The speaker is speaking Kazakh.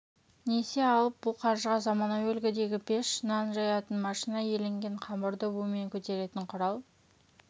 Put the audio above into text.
несие алып бұл қаржыға заманауи үлгідегі пеш нан жаятын машина иленген қамырды бумен көтеретін құрал